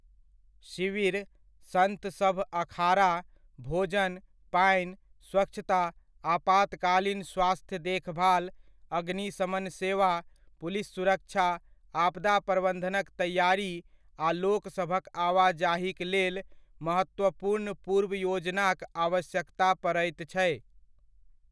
शिविर, संत सभ अखाड़ा, भोजन, पानि, स्वच्छता, आपातकालीन स्वास्थ्य देखभाल, अग्निशमन सेवा, पुलिस सुरक्षा, आपदा प्रबन्धनक तैआरी आ लोक सभक आवाजाहीक लेल महत्वपूर्ण पूर्व योजनाक आवश्यकता पड़ैत छै।